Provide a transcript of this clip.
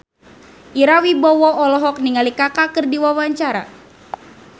Ira Wibowo olohok ningali Kaka keur diwawancara